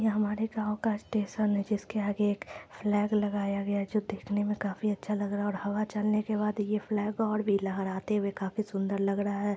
यह हमारे गावं का स्टेशन है जिसके आगे एक फ्लैग लगाया गया हैं जो देखने मे काफी अच्छा लग रहा हैं और हवा चल ने के बाद ये फ्लॅग और भी लहराते हुए काफी सुंदर लग रहा हैं।